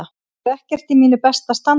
Ég er ekkert í mínu besta standi.